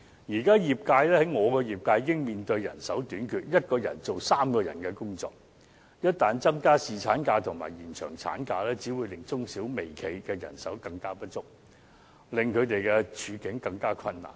現時我的業界已經面對人手短缺 ，1 人要做3人的工作，一旦增加侍產假和延長產假，只會令中小微企的人手更不足，令他們的處境更困難。